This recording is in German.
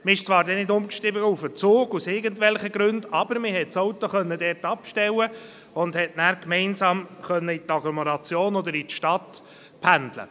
Man stieg dann zwar nicht auf den Zug um, aus welchen Gründen auch immer, aber man konnte das Auto dort stehen lassen und konnte dann gemeinsam in die Stadt oder die Agglomeration pendeln.